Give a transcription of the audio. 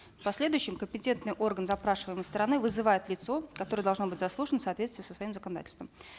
в последующем компетентный орган запрашиваемой стороны вызывает лицо которое должно быть заслушано в соответствии со своим законодательством